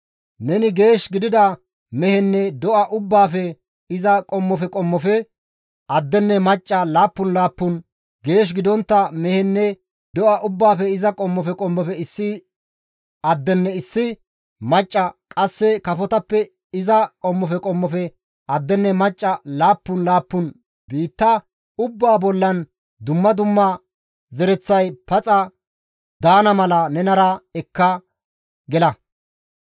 Neni geesh gidida mehenne do7a ubbaafe iza qommofe qommofe addenne macca laappun laappun, geesh gidontta mehenne do7a ubbaafe iza qommofe qommofe issi addenne issi macca qasse kafotappe iza qommofe qommofe addenne macca laappun laappun, biitta ubbaa bollan dumma dumma zereththay paxa daana mala nenara ekka gela.